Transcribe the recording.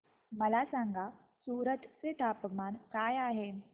मला सांगा सूरत चे तापमान काय आहे